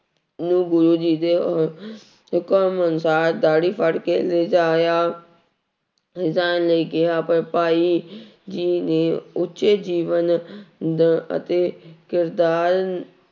ਨੂੰ ਗੁਰੁ ਜੀ ਦੇ ਹੁਕਮ ਅਨੁਸਾਰ ਦਾੜੀ ਫੜਕੇ ਲਿਜਾਇਆ ਜਾਣ ਲਈ ਕਿਹਾ ਪਰ ਭਾਈ ਜੀ ਦੇ ਉੱਚੇ ਜੀਵਨ ਨ ਅਤੇ ਕਿਰਦਾਰ